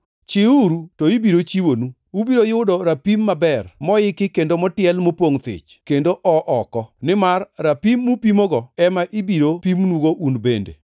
Chiwuru, to ibiro chiwonu. Ubiro yudo rapim maber, moiki kendo motiel mapongʼ thich, kendo oo oko. Nimar rapim mupimogo ema ibiro pimnugo un bende.”